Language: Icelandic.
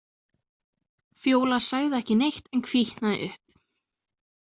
Fjóla sagði ekki neitt en hvítnaði upp.